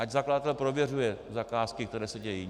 Ať zakladatel prověřuje zakázky, které se dějí.